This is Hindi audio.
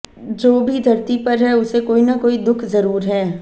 जो भी धरती पर है उसे कोई न कोई दुख जरुर है